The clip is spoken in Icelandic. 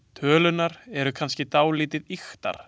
Tölurnar eru kannski dálítið ýktar.